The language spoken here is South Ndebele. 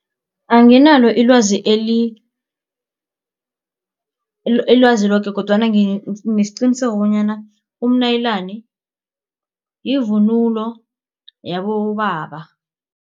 Anginalo alwazi ilwazi loke kodwana nginesiqiniseko bonyana umnayilani yivunulo yabobaba.